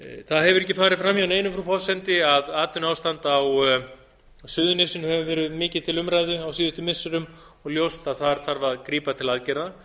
það hefur ekki farið fram hjá neinum frú forseti að atvinnuástand á suðurnesjum hefur verið mikið til umræðu á síðustu misserum og ljóst að þar þarf að grípa til aðgerða